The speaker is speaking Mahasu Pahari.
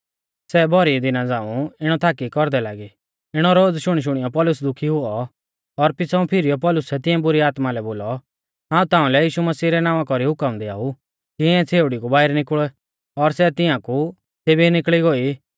सै भौरी दिना झ़ांऊ इणौ थाकी कौरदै लागी इणौ रोज़ शुणीशुणियौ पौलुस दुखी हुऔ और पिछ़ाऊं फिरीयौ पौलुसै तिऐं बुरी आत्मा लै बोलौ हाऊं ताऊं लै यीशु मसीह रै नावां कौरी हुकम दिआऊ कि इऐं छ़ेउड़ी कु बाइरै निकुल़ और सै तियांकु तेभी निकल़ी गोई